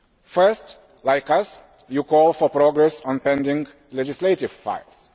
First, like us, you call for progress on pending legislative files.